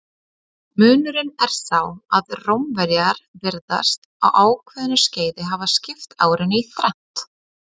Munurinn er sá að Rómverjar virðast á ákveðnu skeiði hafa skipt árinu í þrennt.